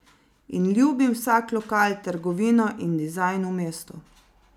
In ljubim vsak lokal, trgovino in dizajn v mestu.